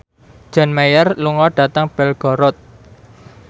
John Mayer lunga dhateng Belgorod